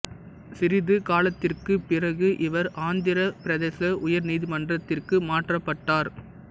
சிறிது காலத்திற்குப் பிறகு இவர் ஆந்திரப் பிரதேச உயர் நீதிமன்றத்திற்கு மாற்றப்பட்டார்